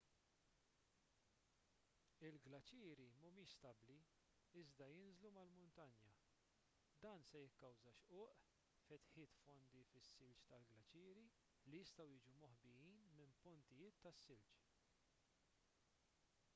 il-glaċieri mhumiex stabbli iżda jinżlu mal-muntanja dan se jikkawża xquq fetħiet fondi fis-silġ tal-glaċieri li jistgħu jiġu moħbijin minn pontijiet tas-silġ